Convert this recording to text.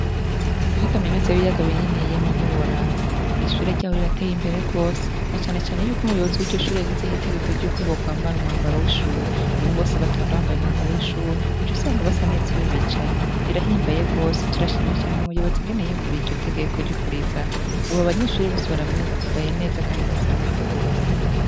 Kuri kaminuza y’ibiyaga binini yemwe ntiworaba, ishure ryaho rirateye imbere gose na cane cane yuko umuyobozi yashizeho itegeko ryuko bokwambara umwambaro w’ishure ubu bose batonda bambaye umwambaro w’ishure uca usanga basa neza iyo bicaye birahimbaye gose turashimiye umuyobozi gose ingene yiyumviriye iryo tegeko ryo kurizana ubu abanyeshure bambaye neza kandi basa neza gose.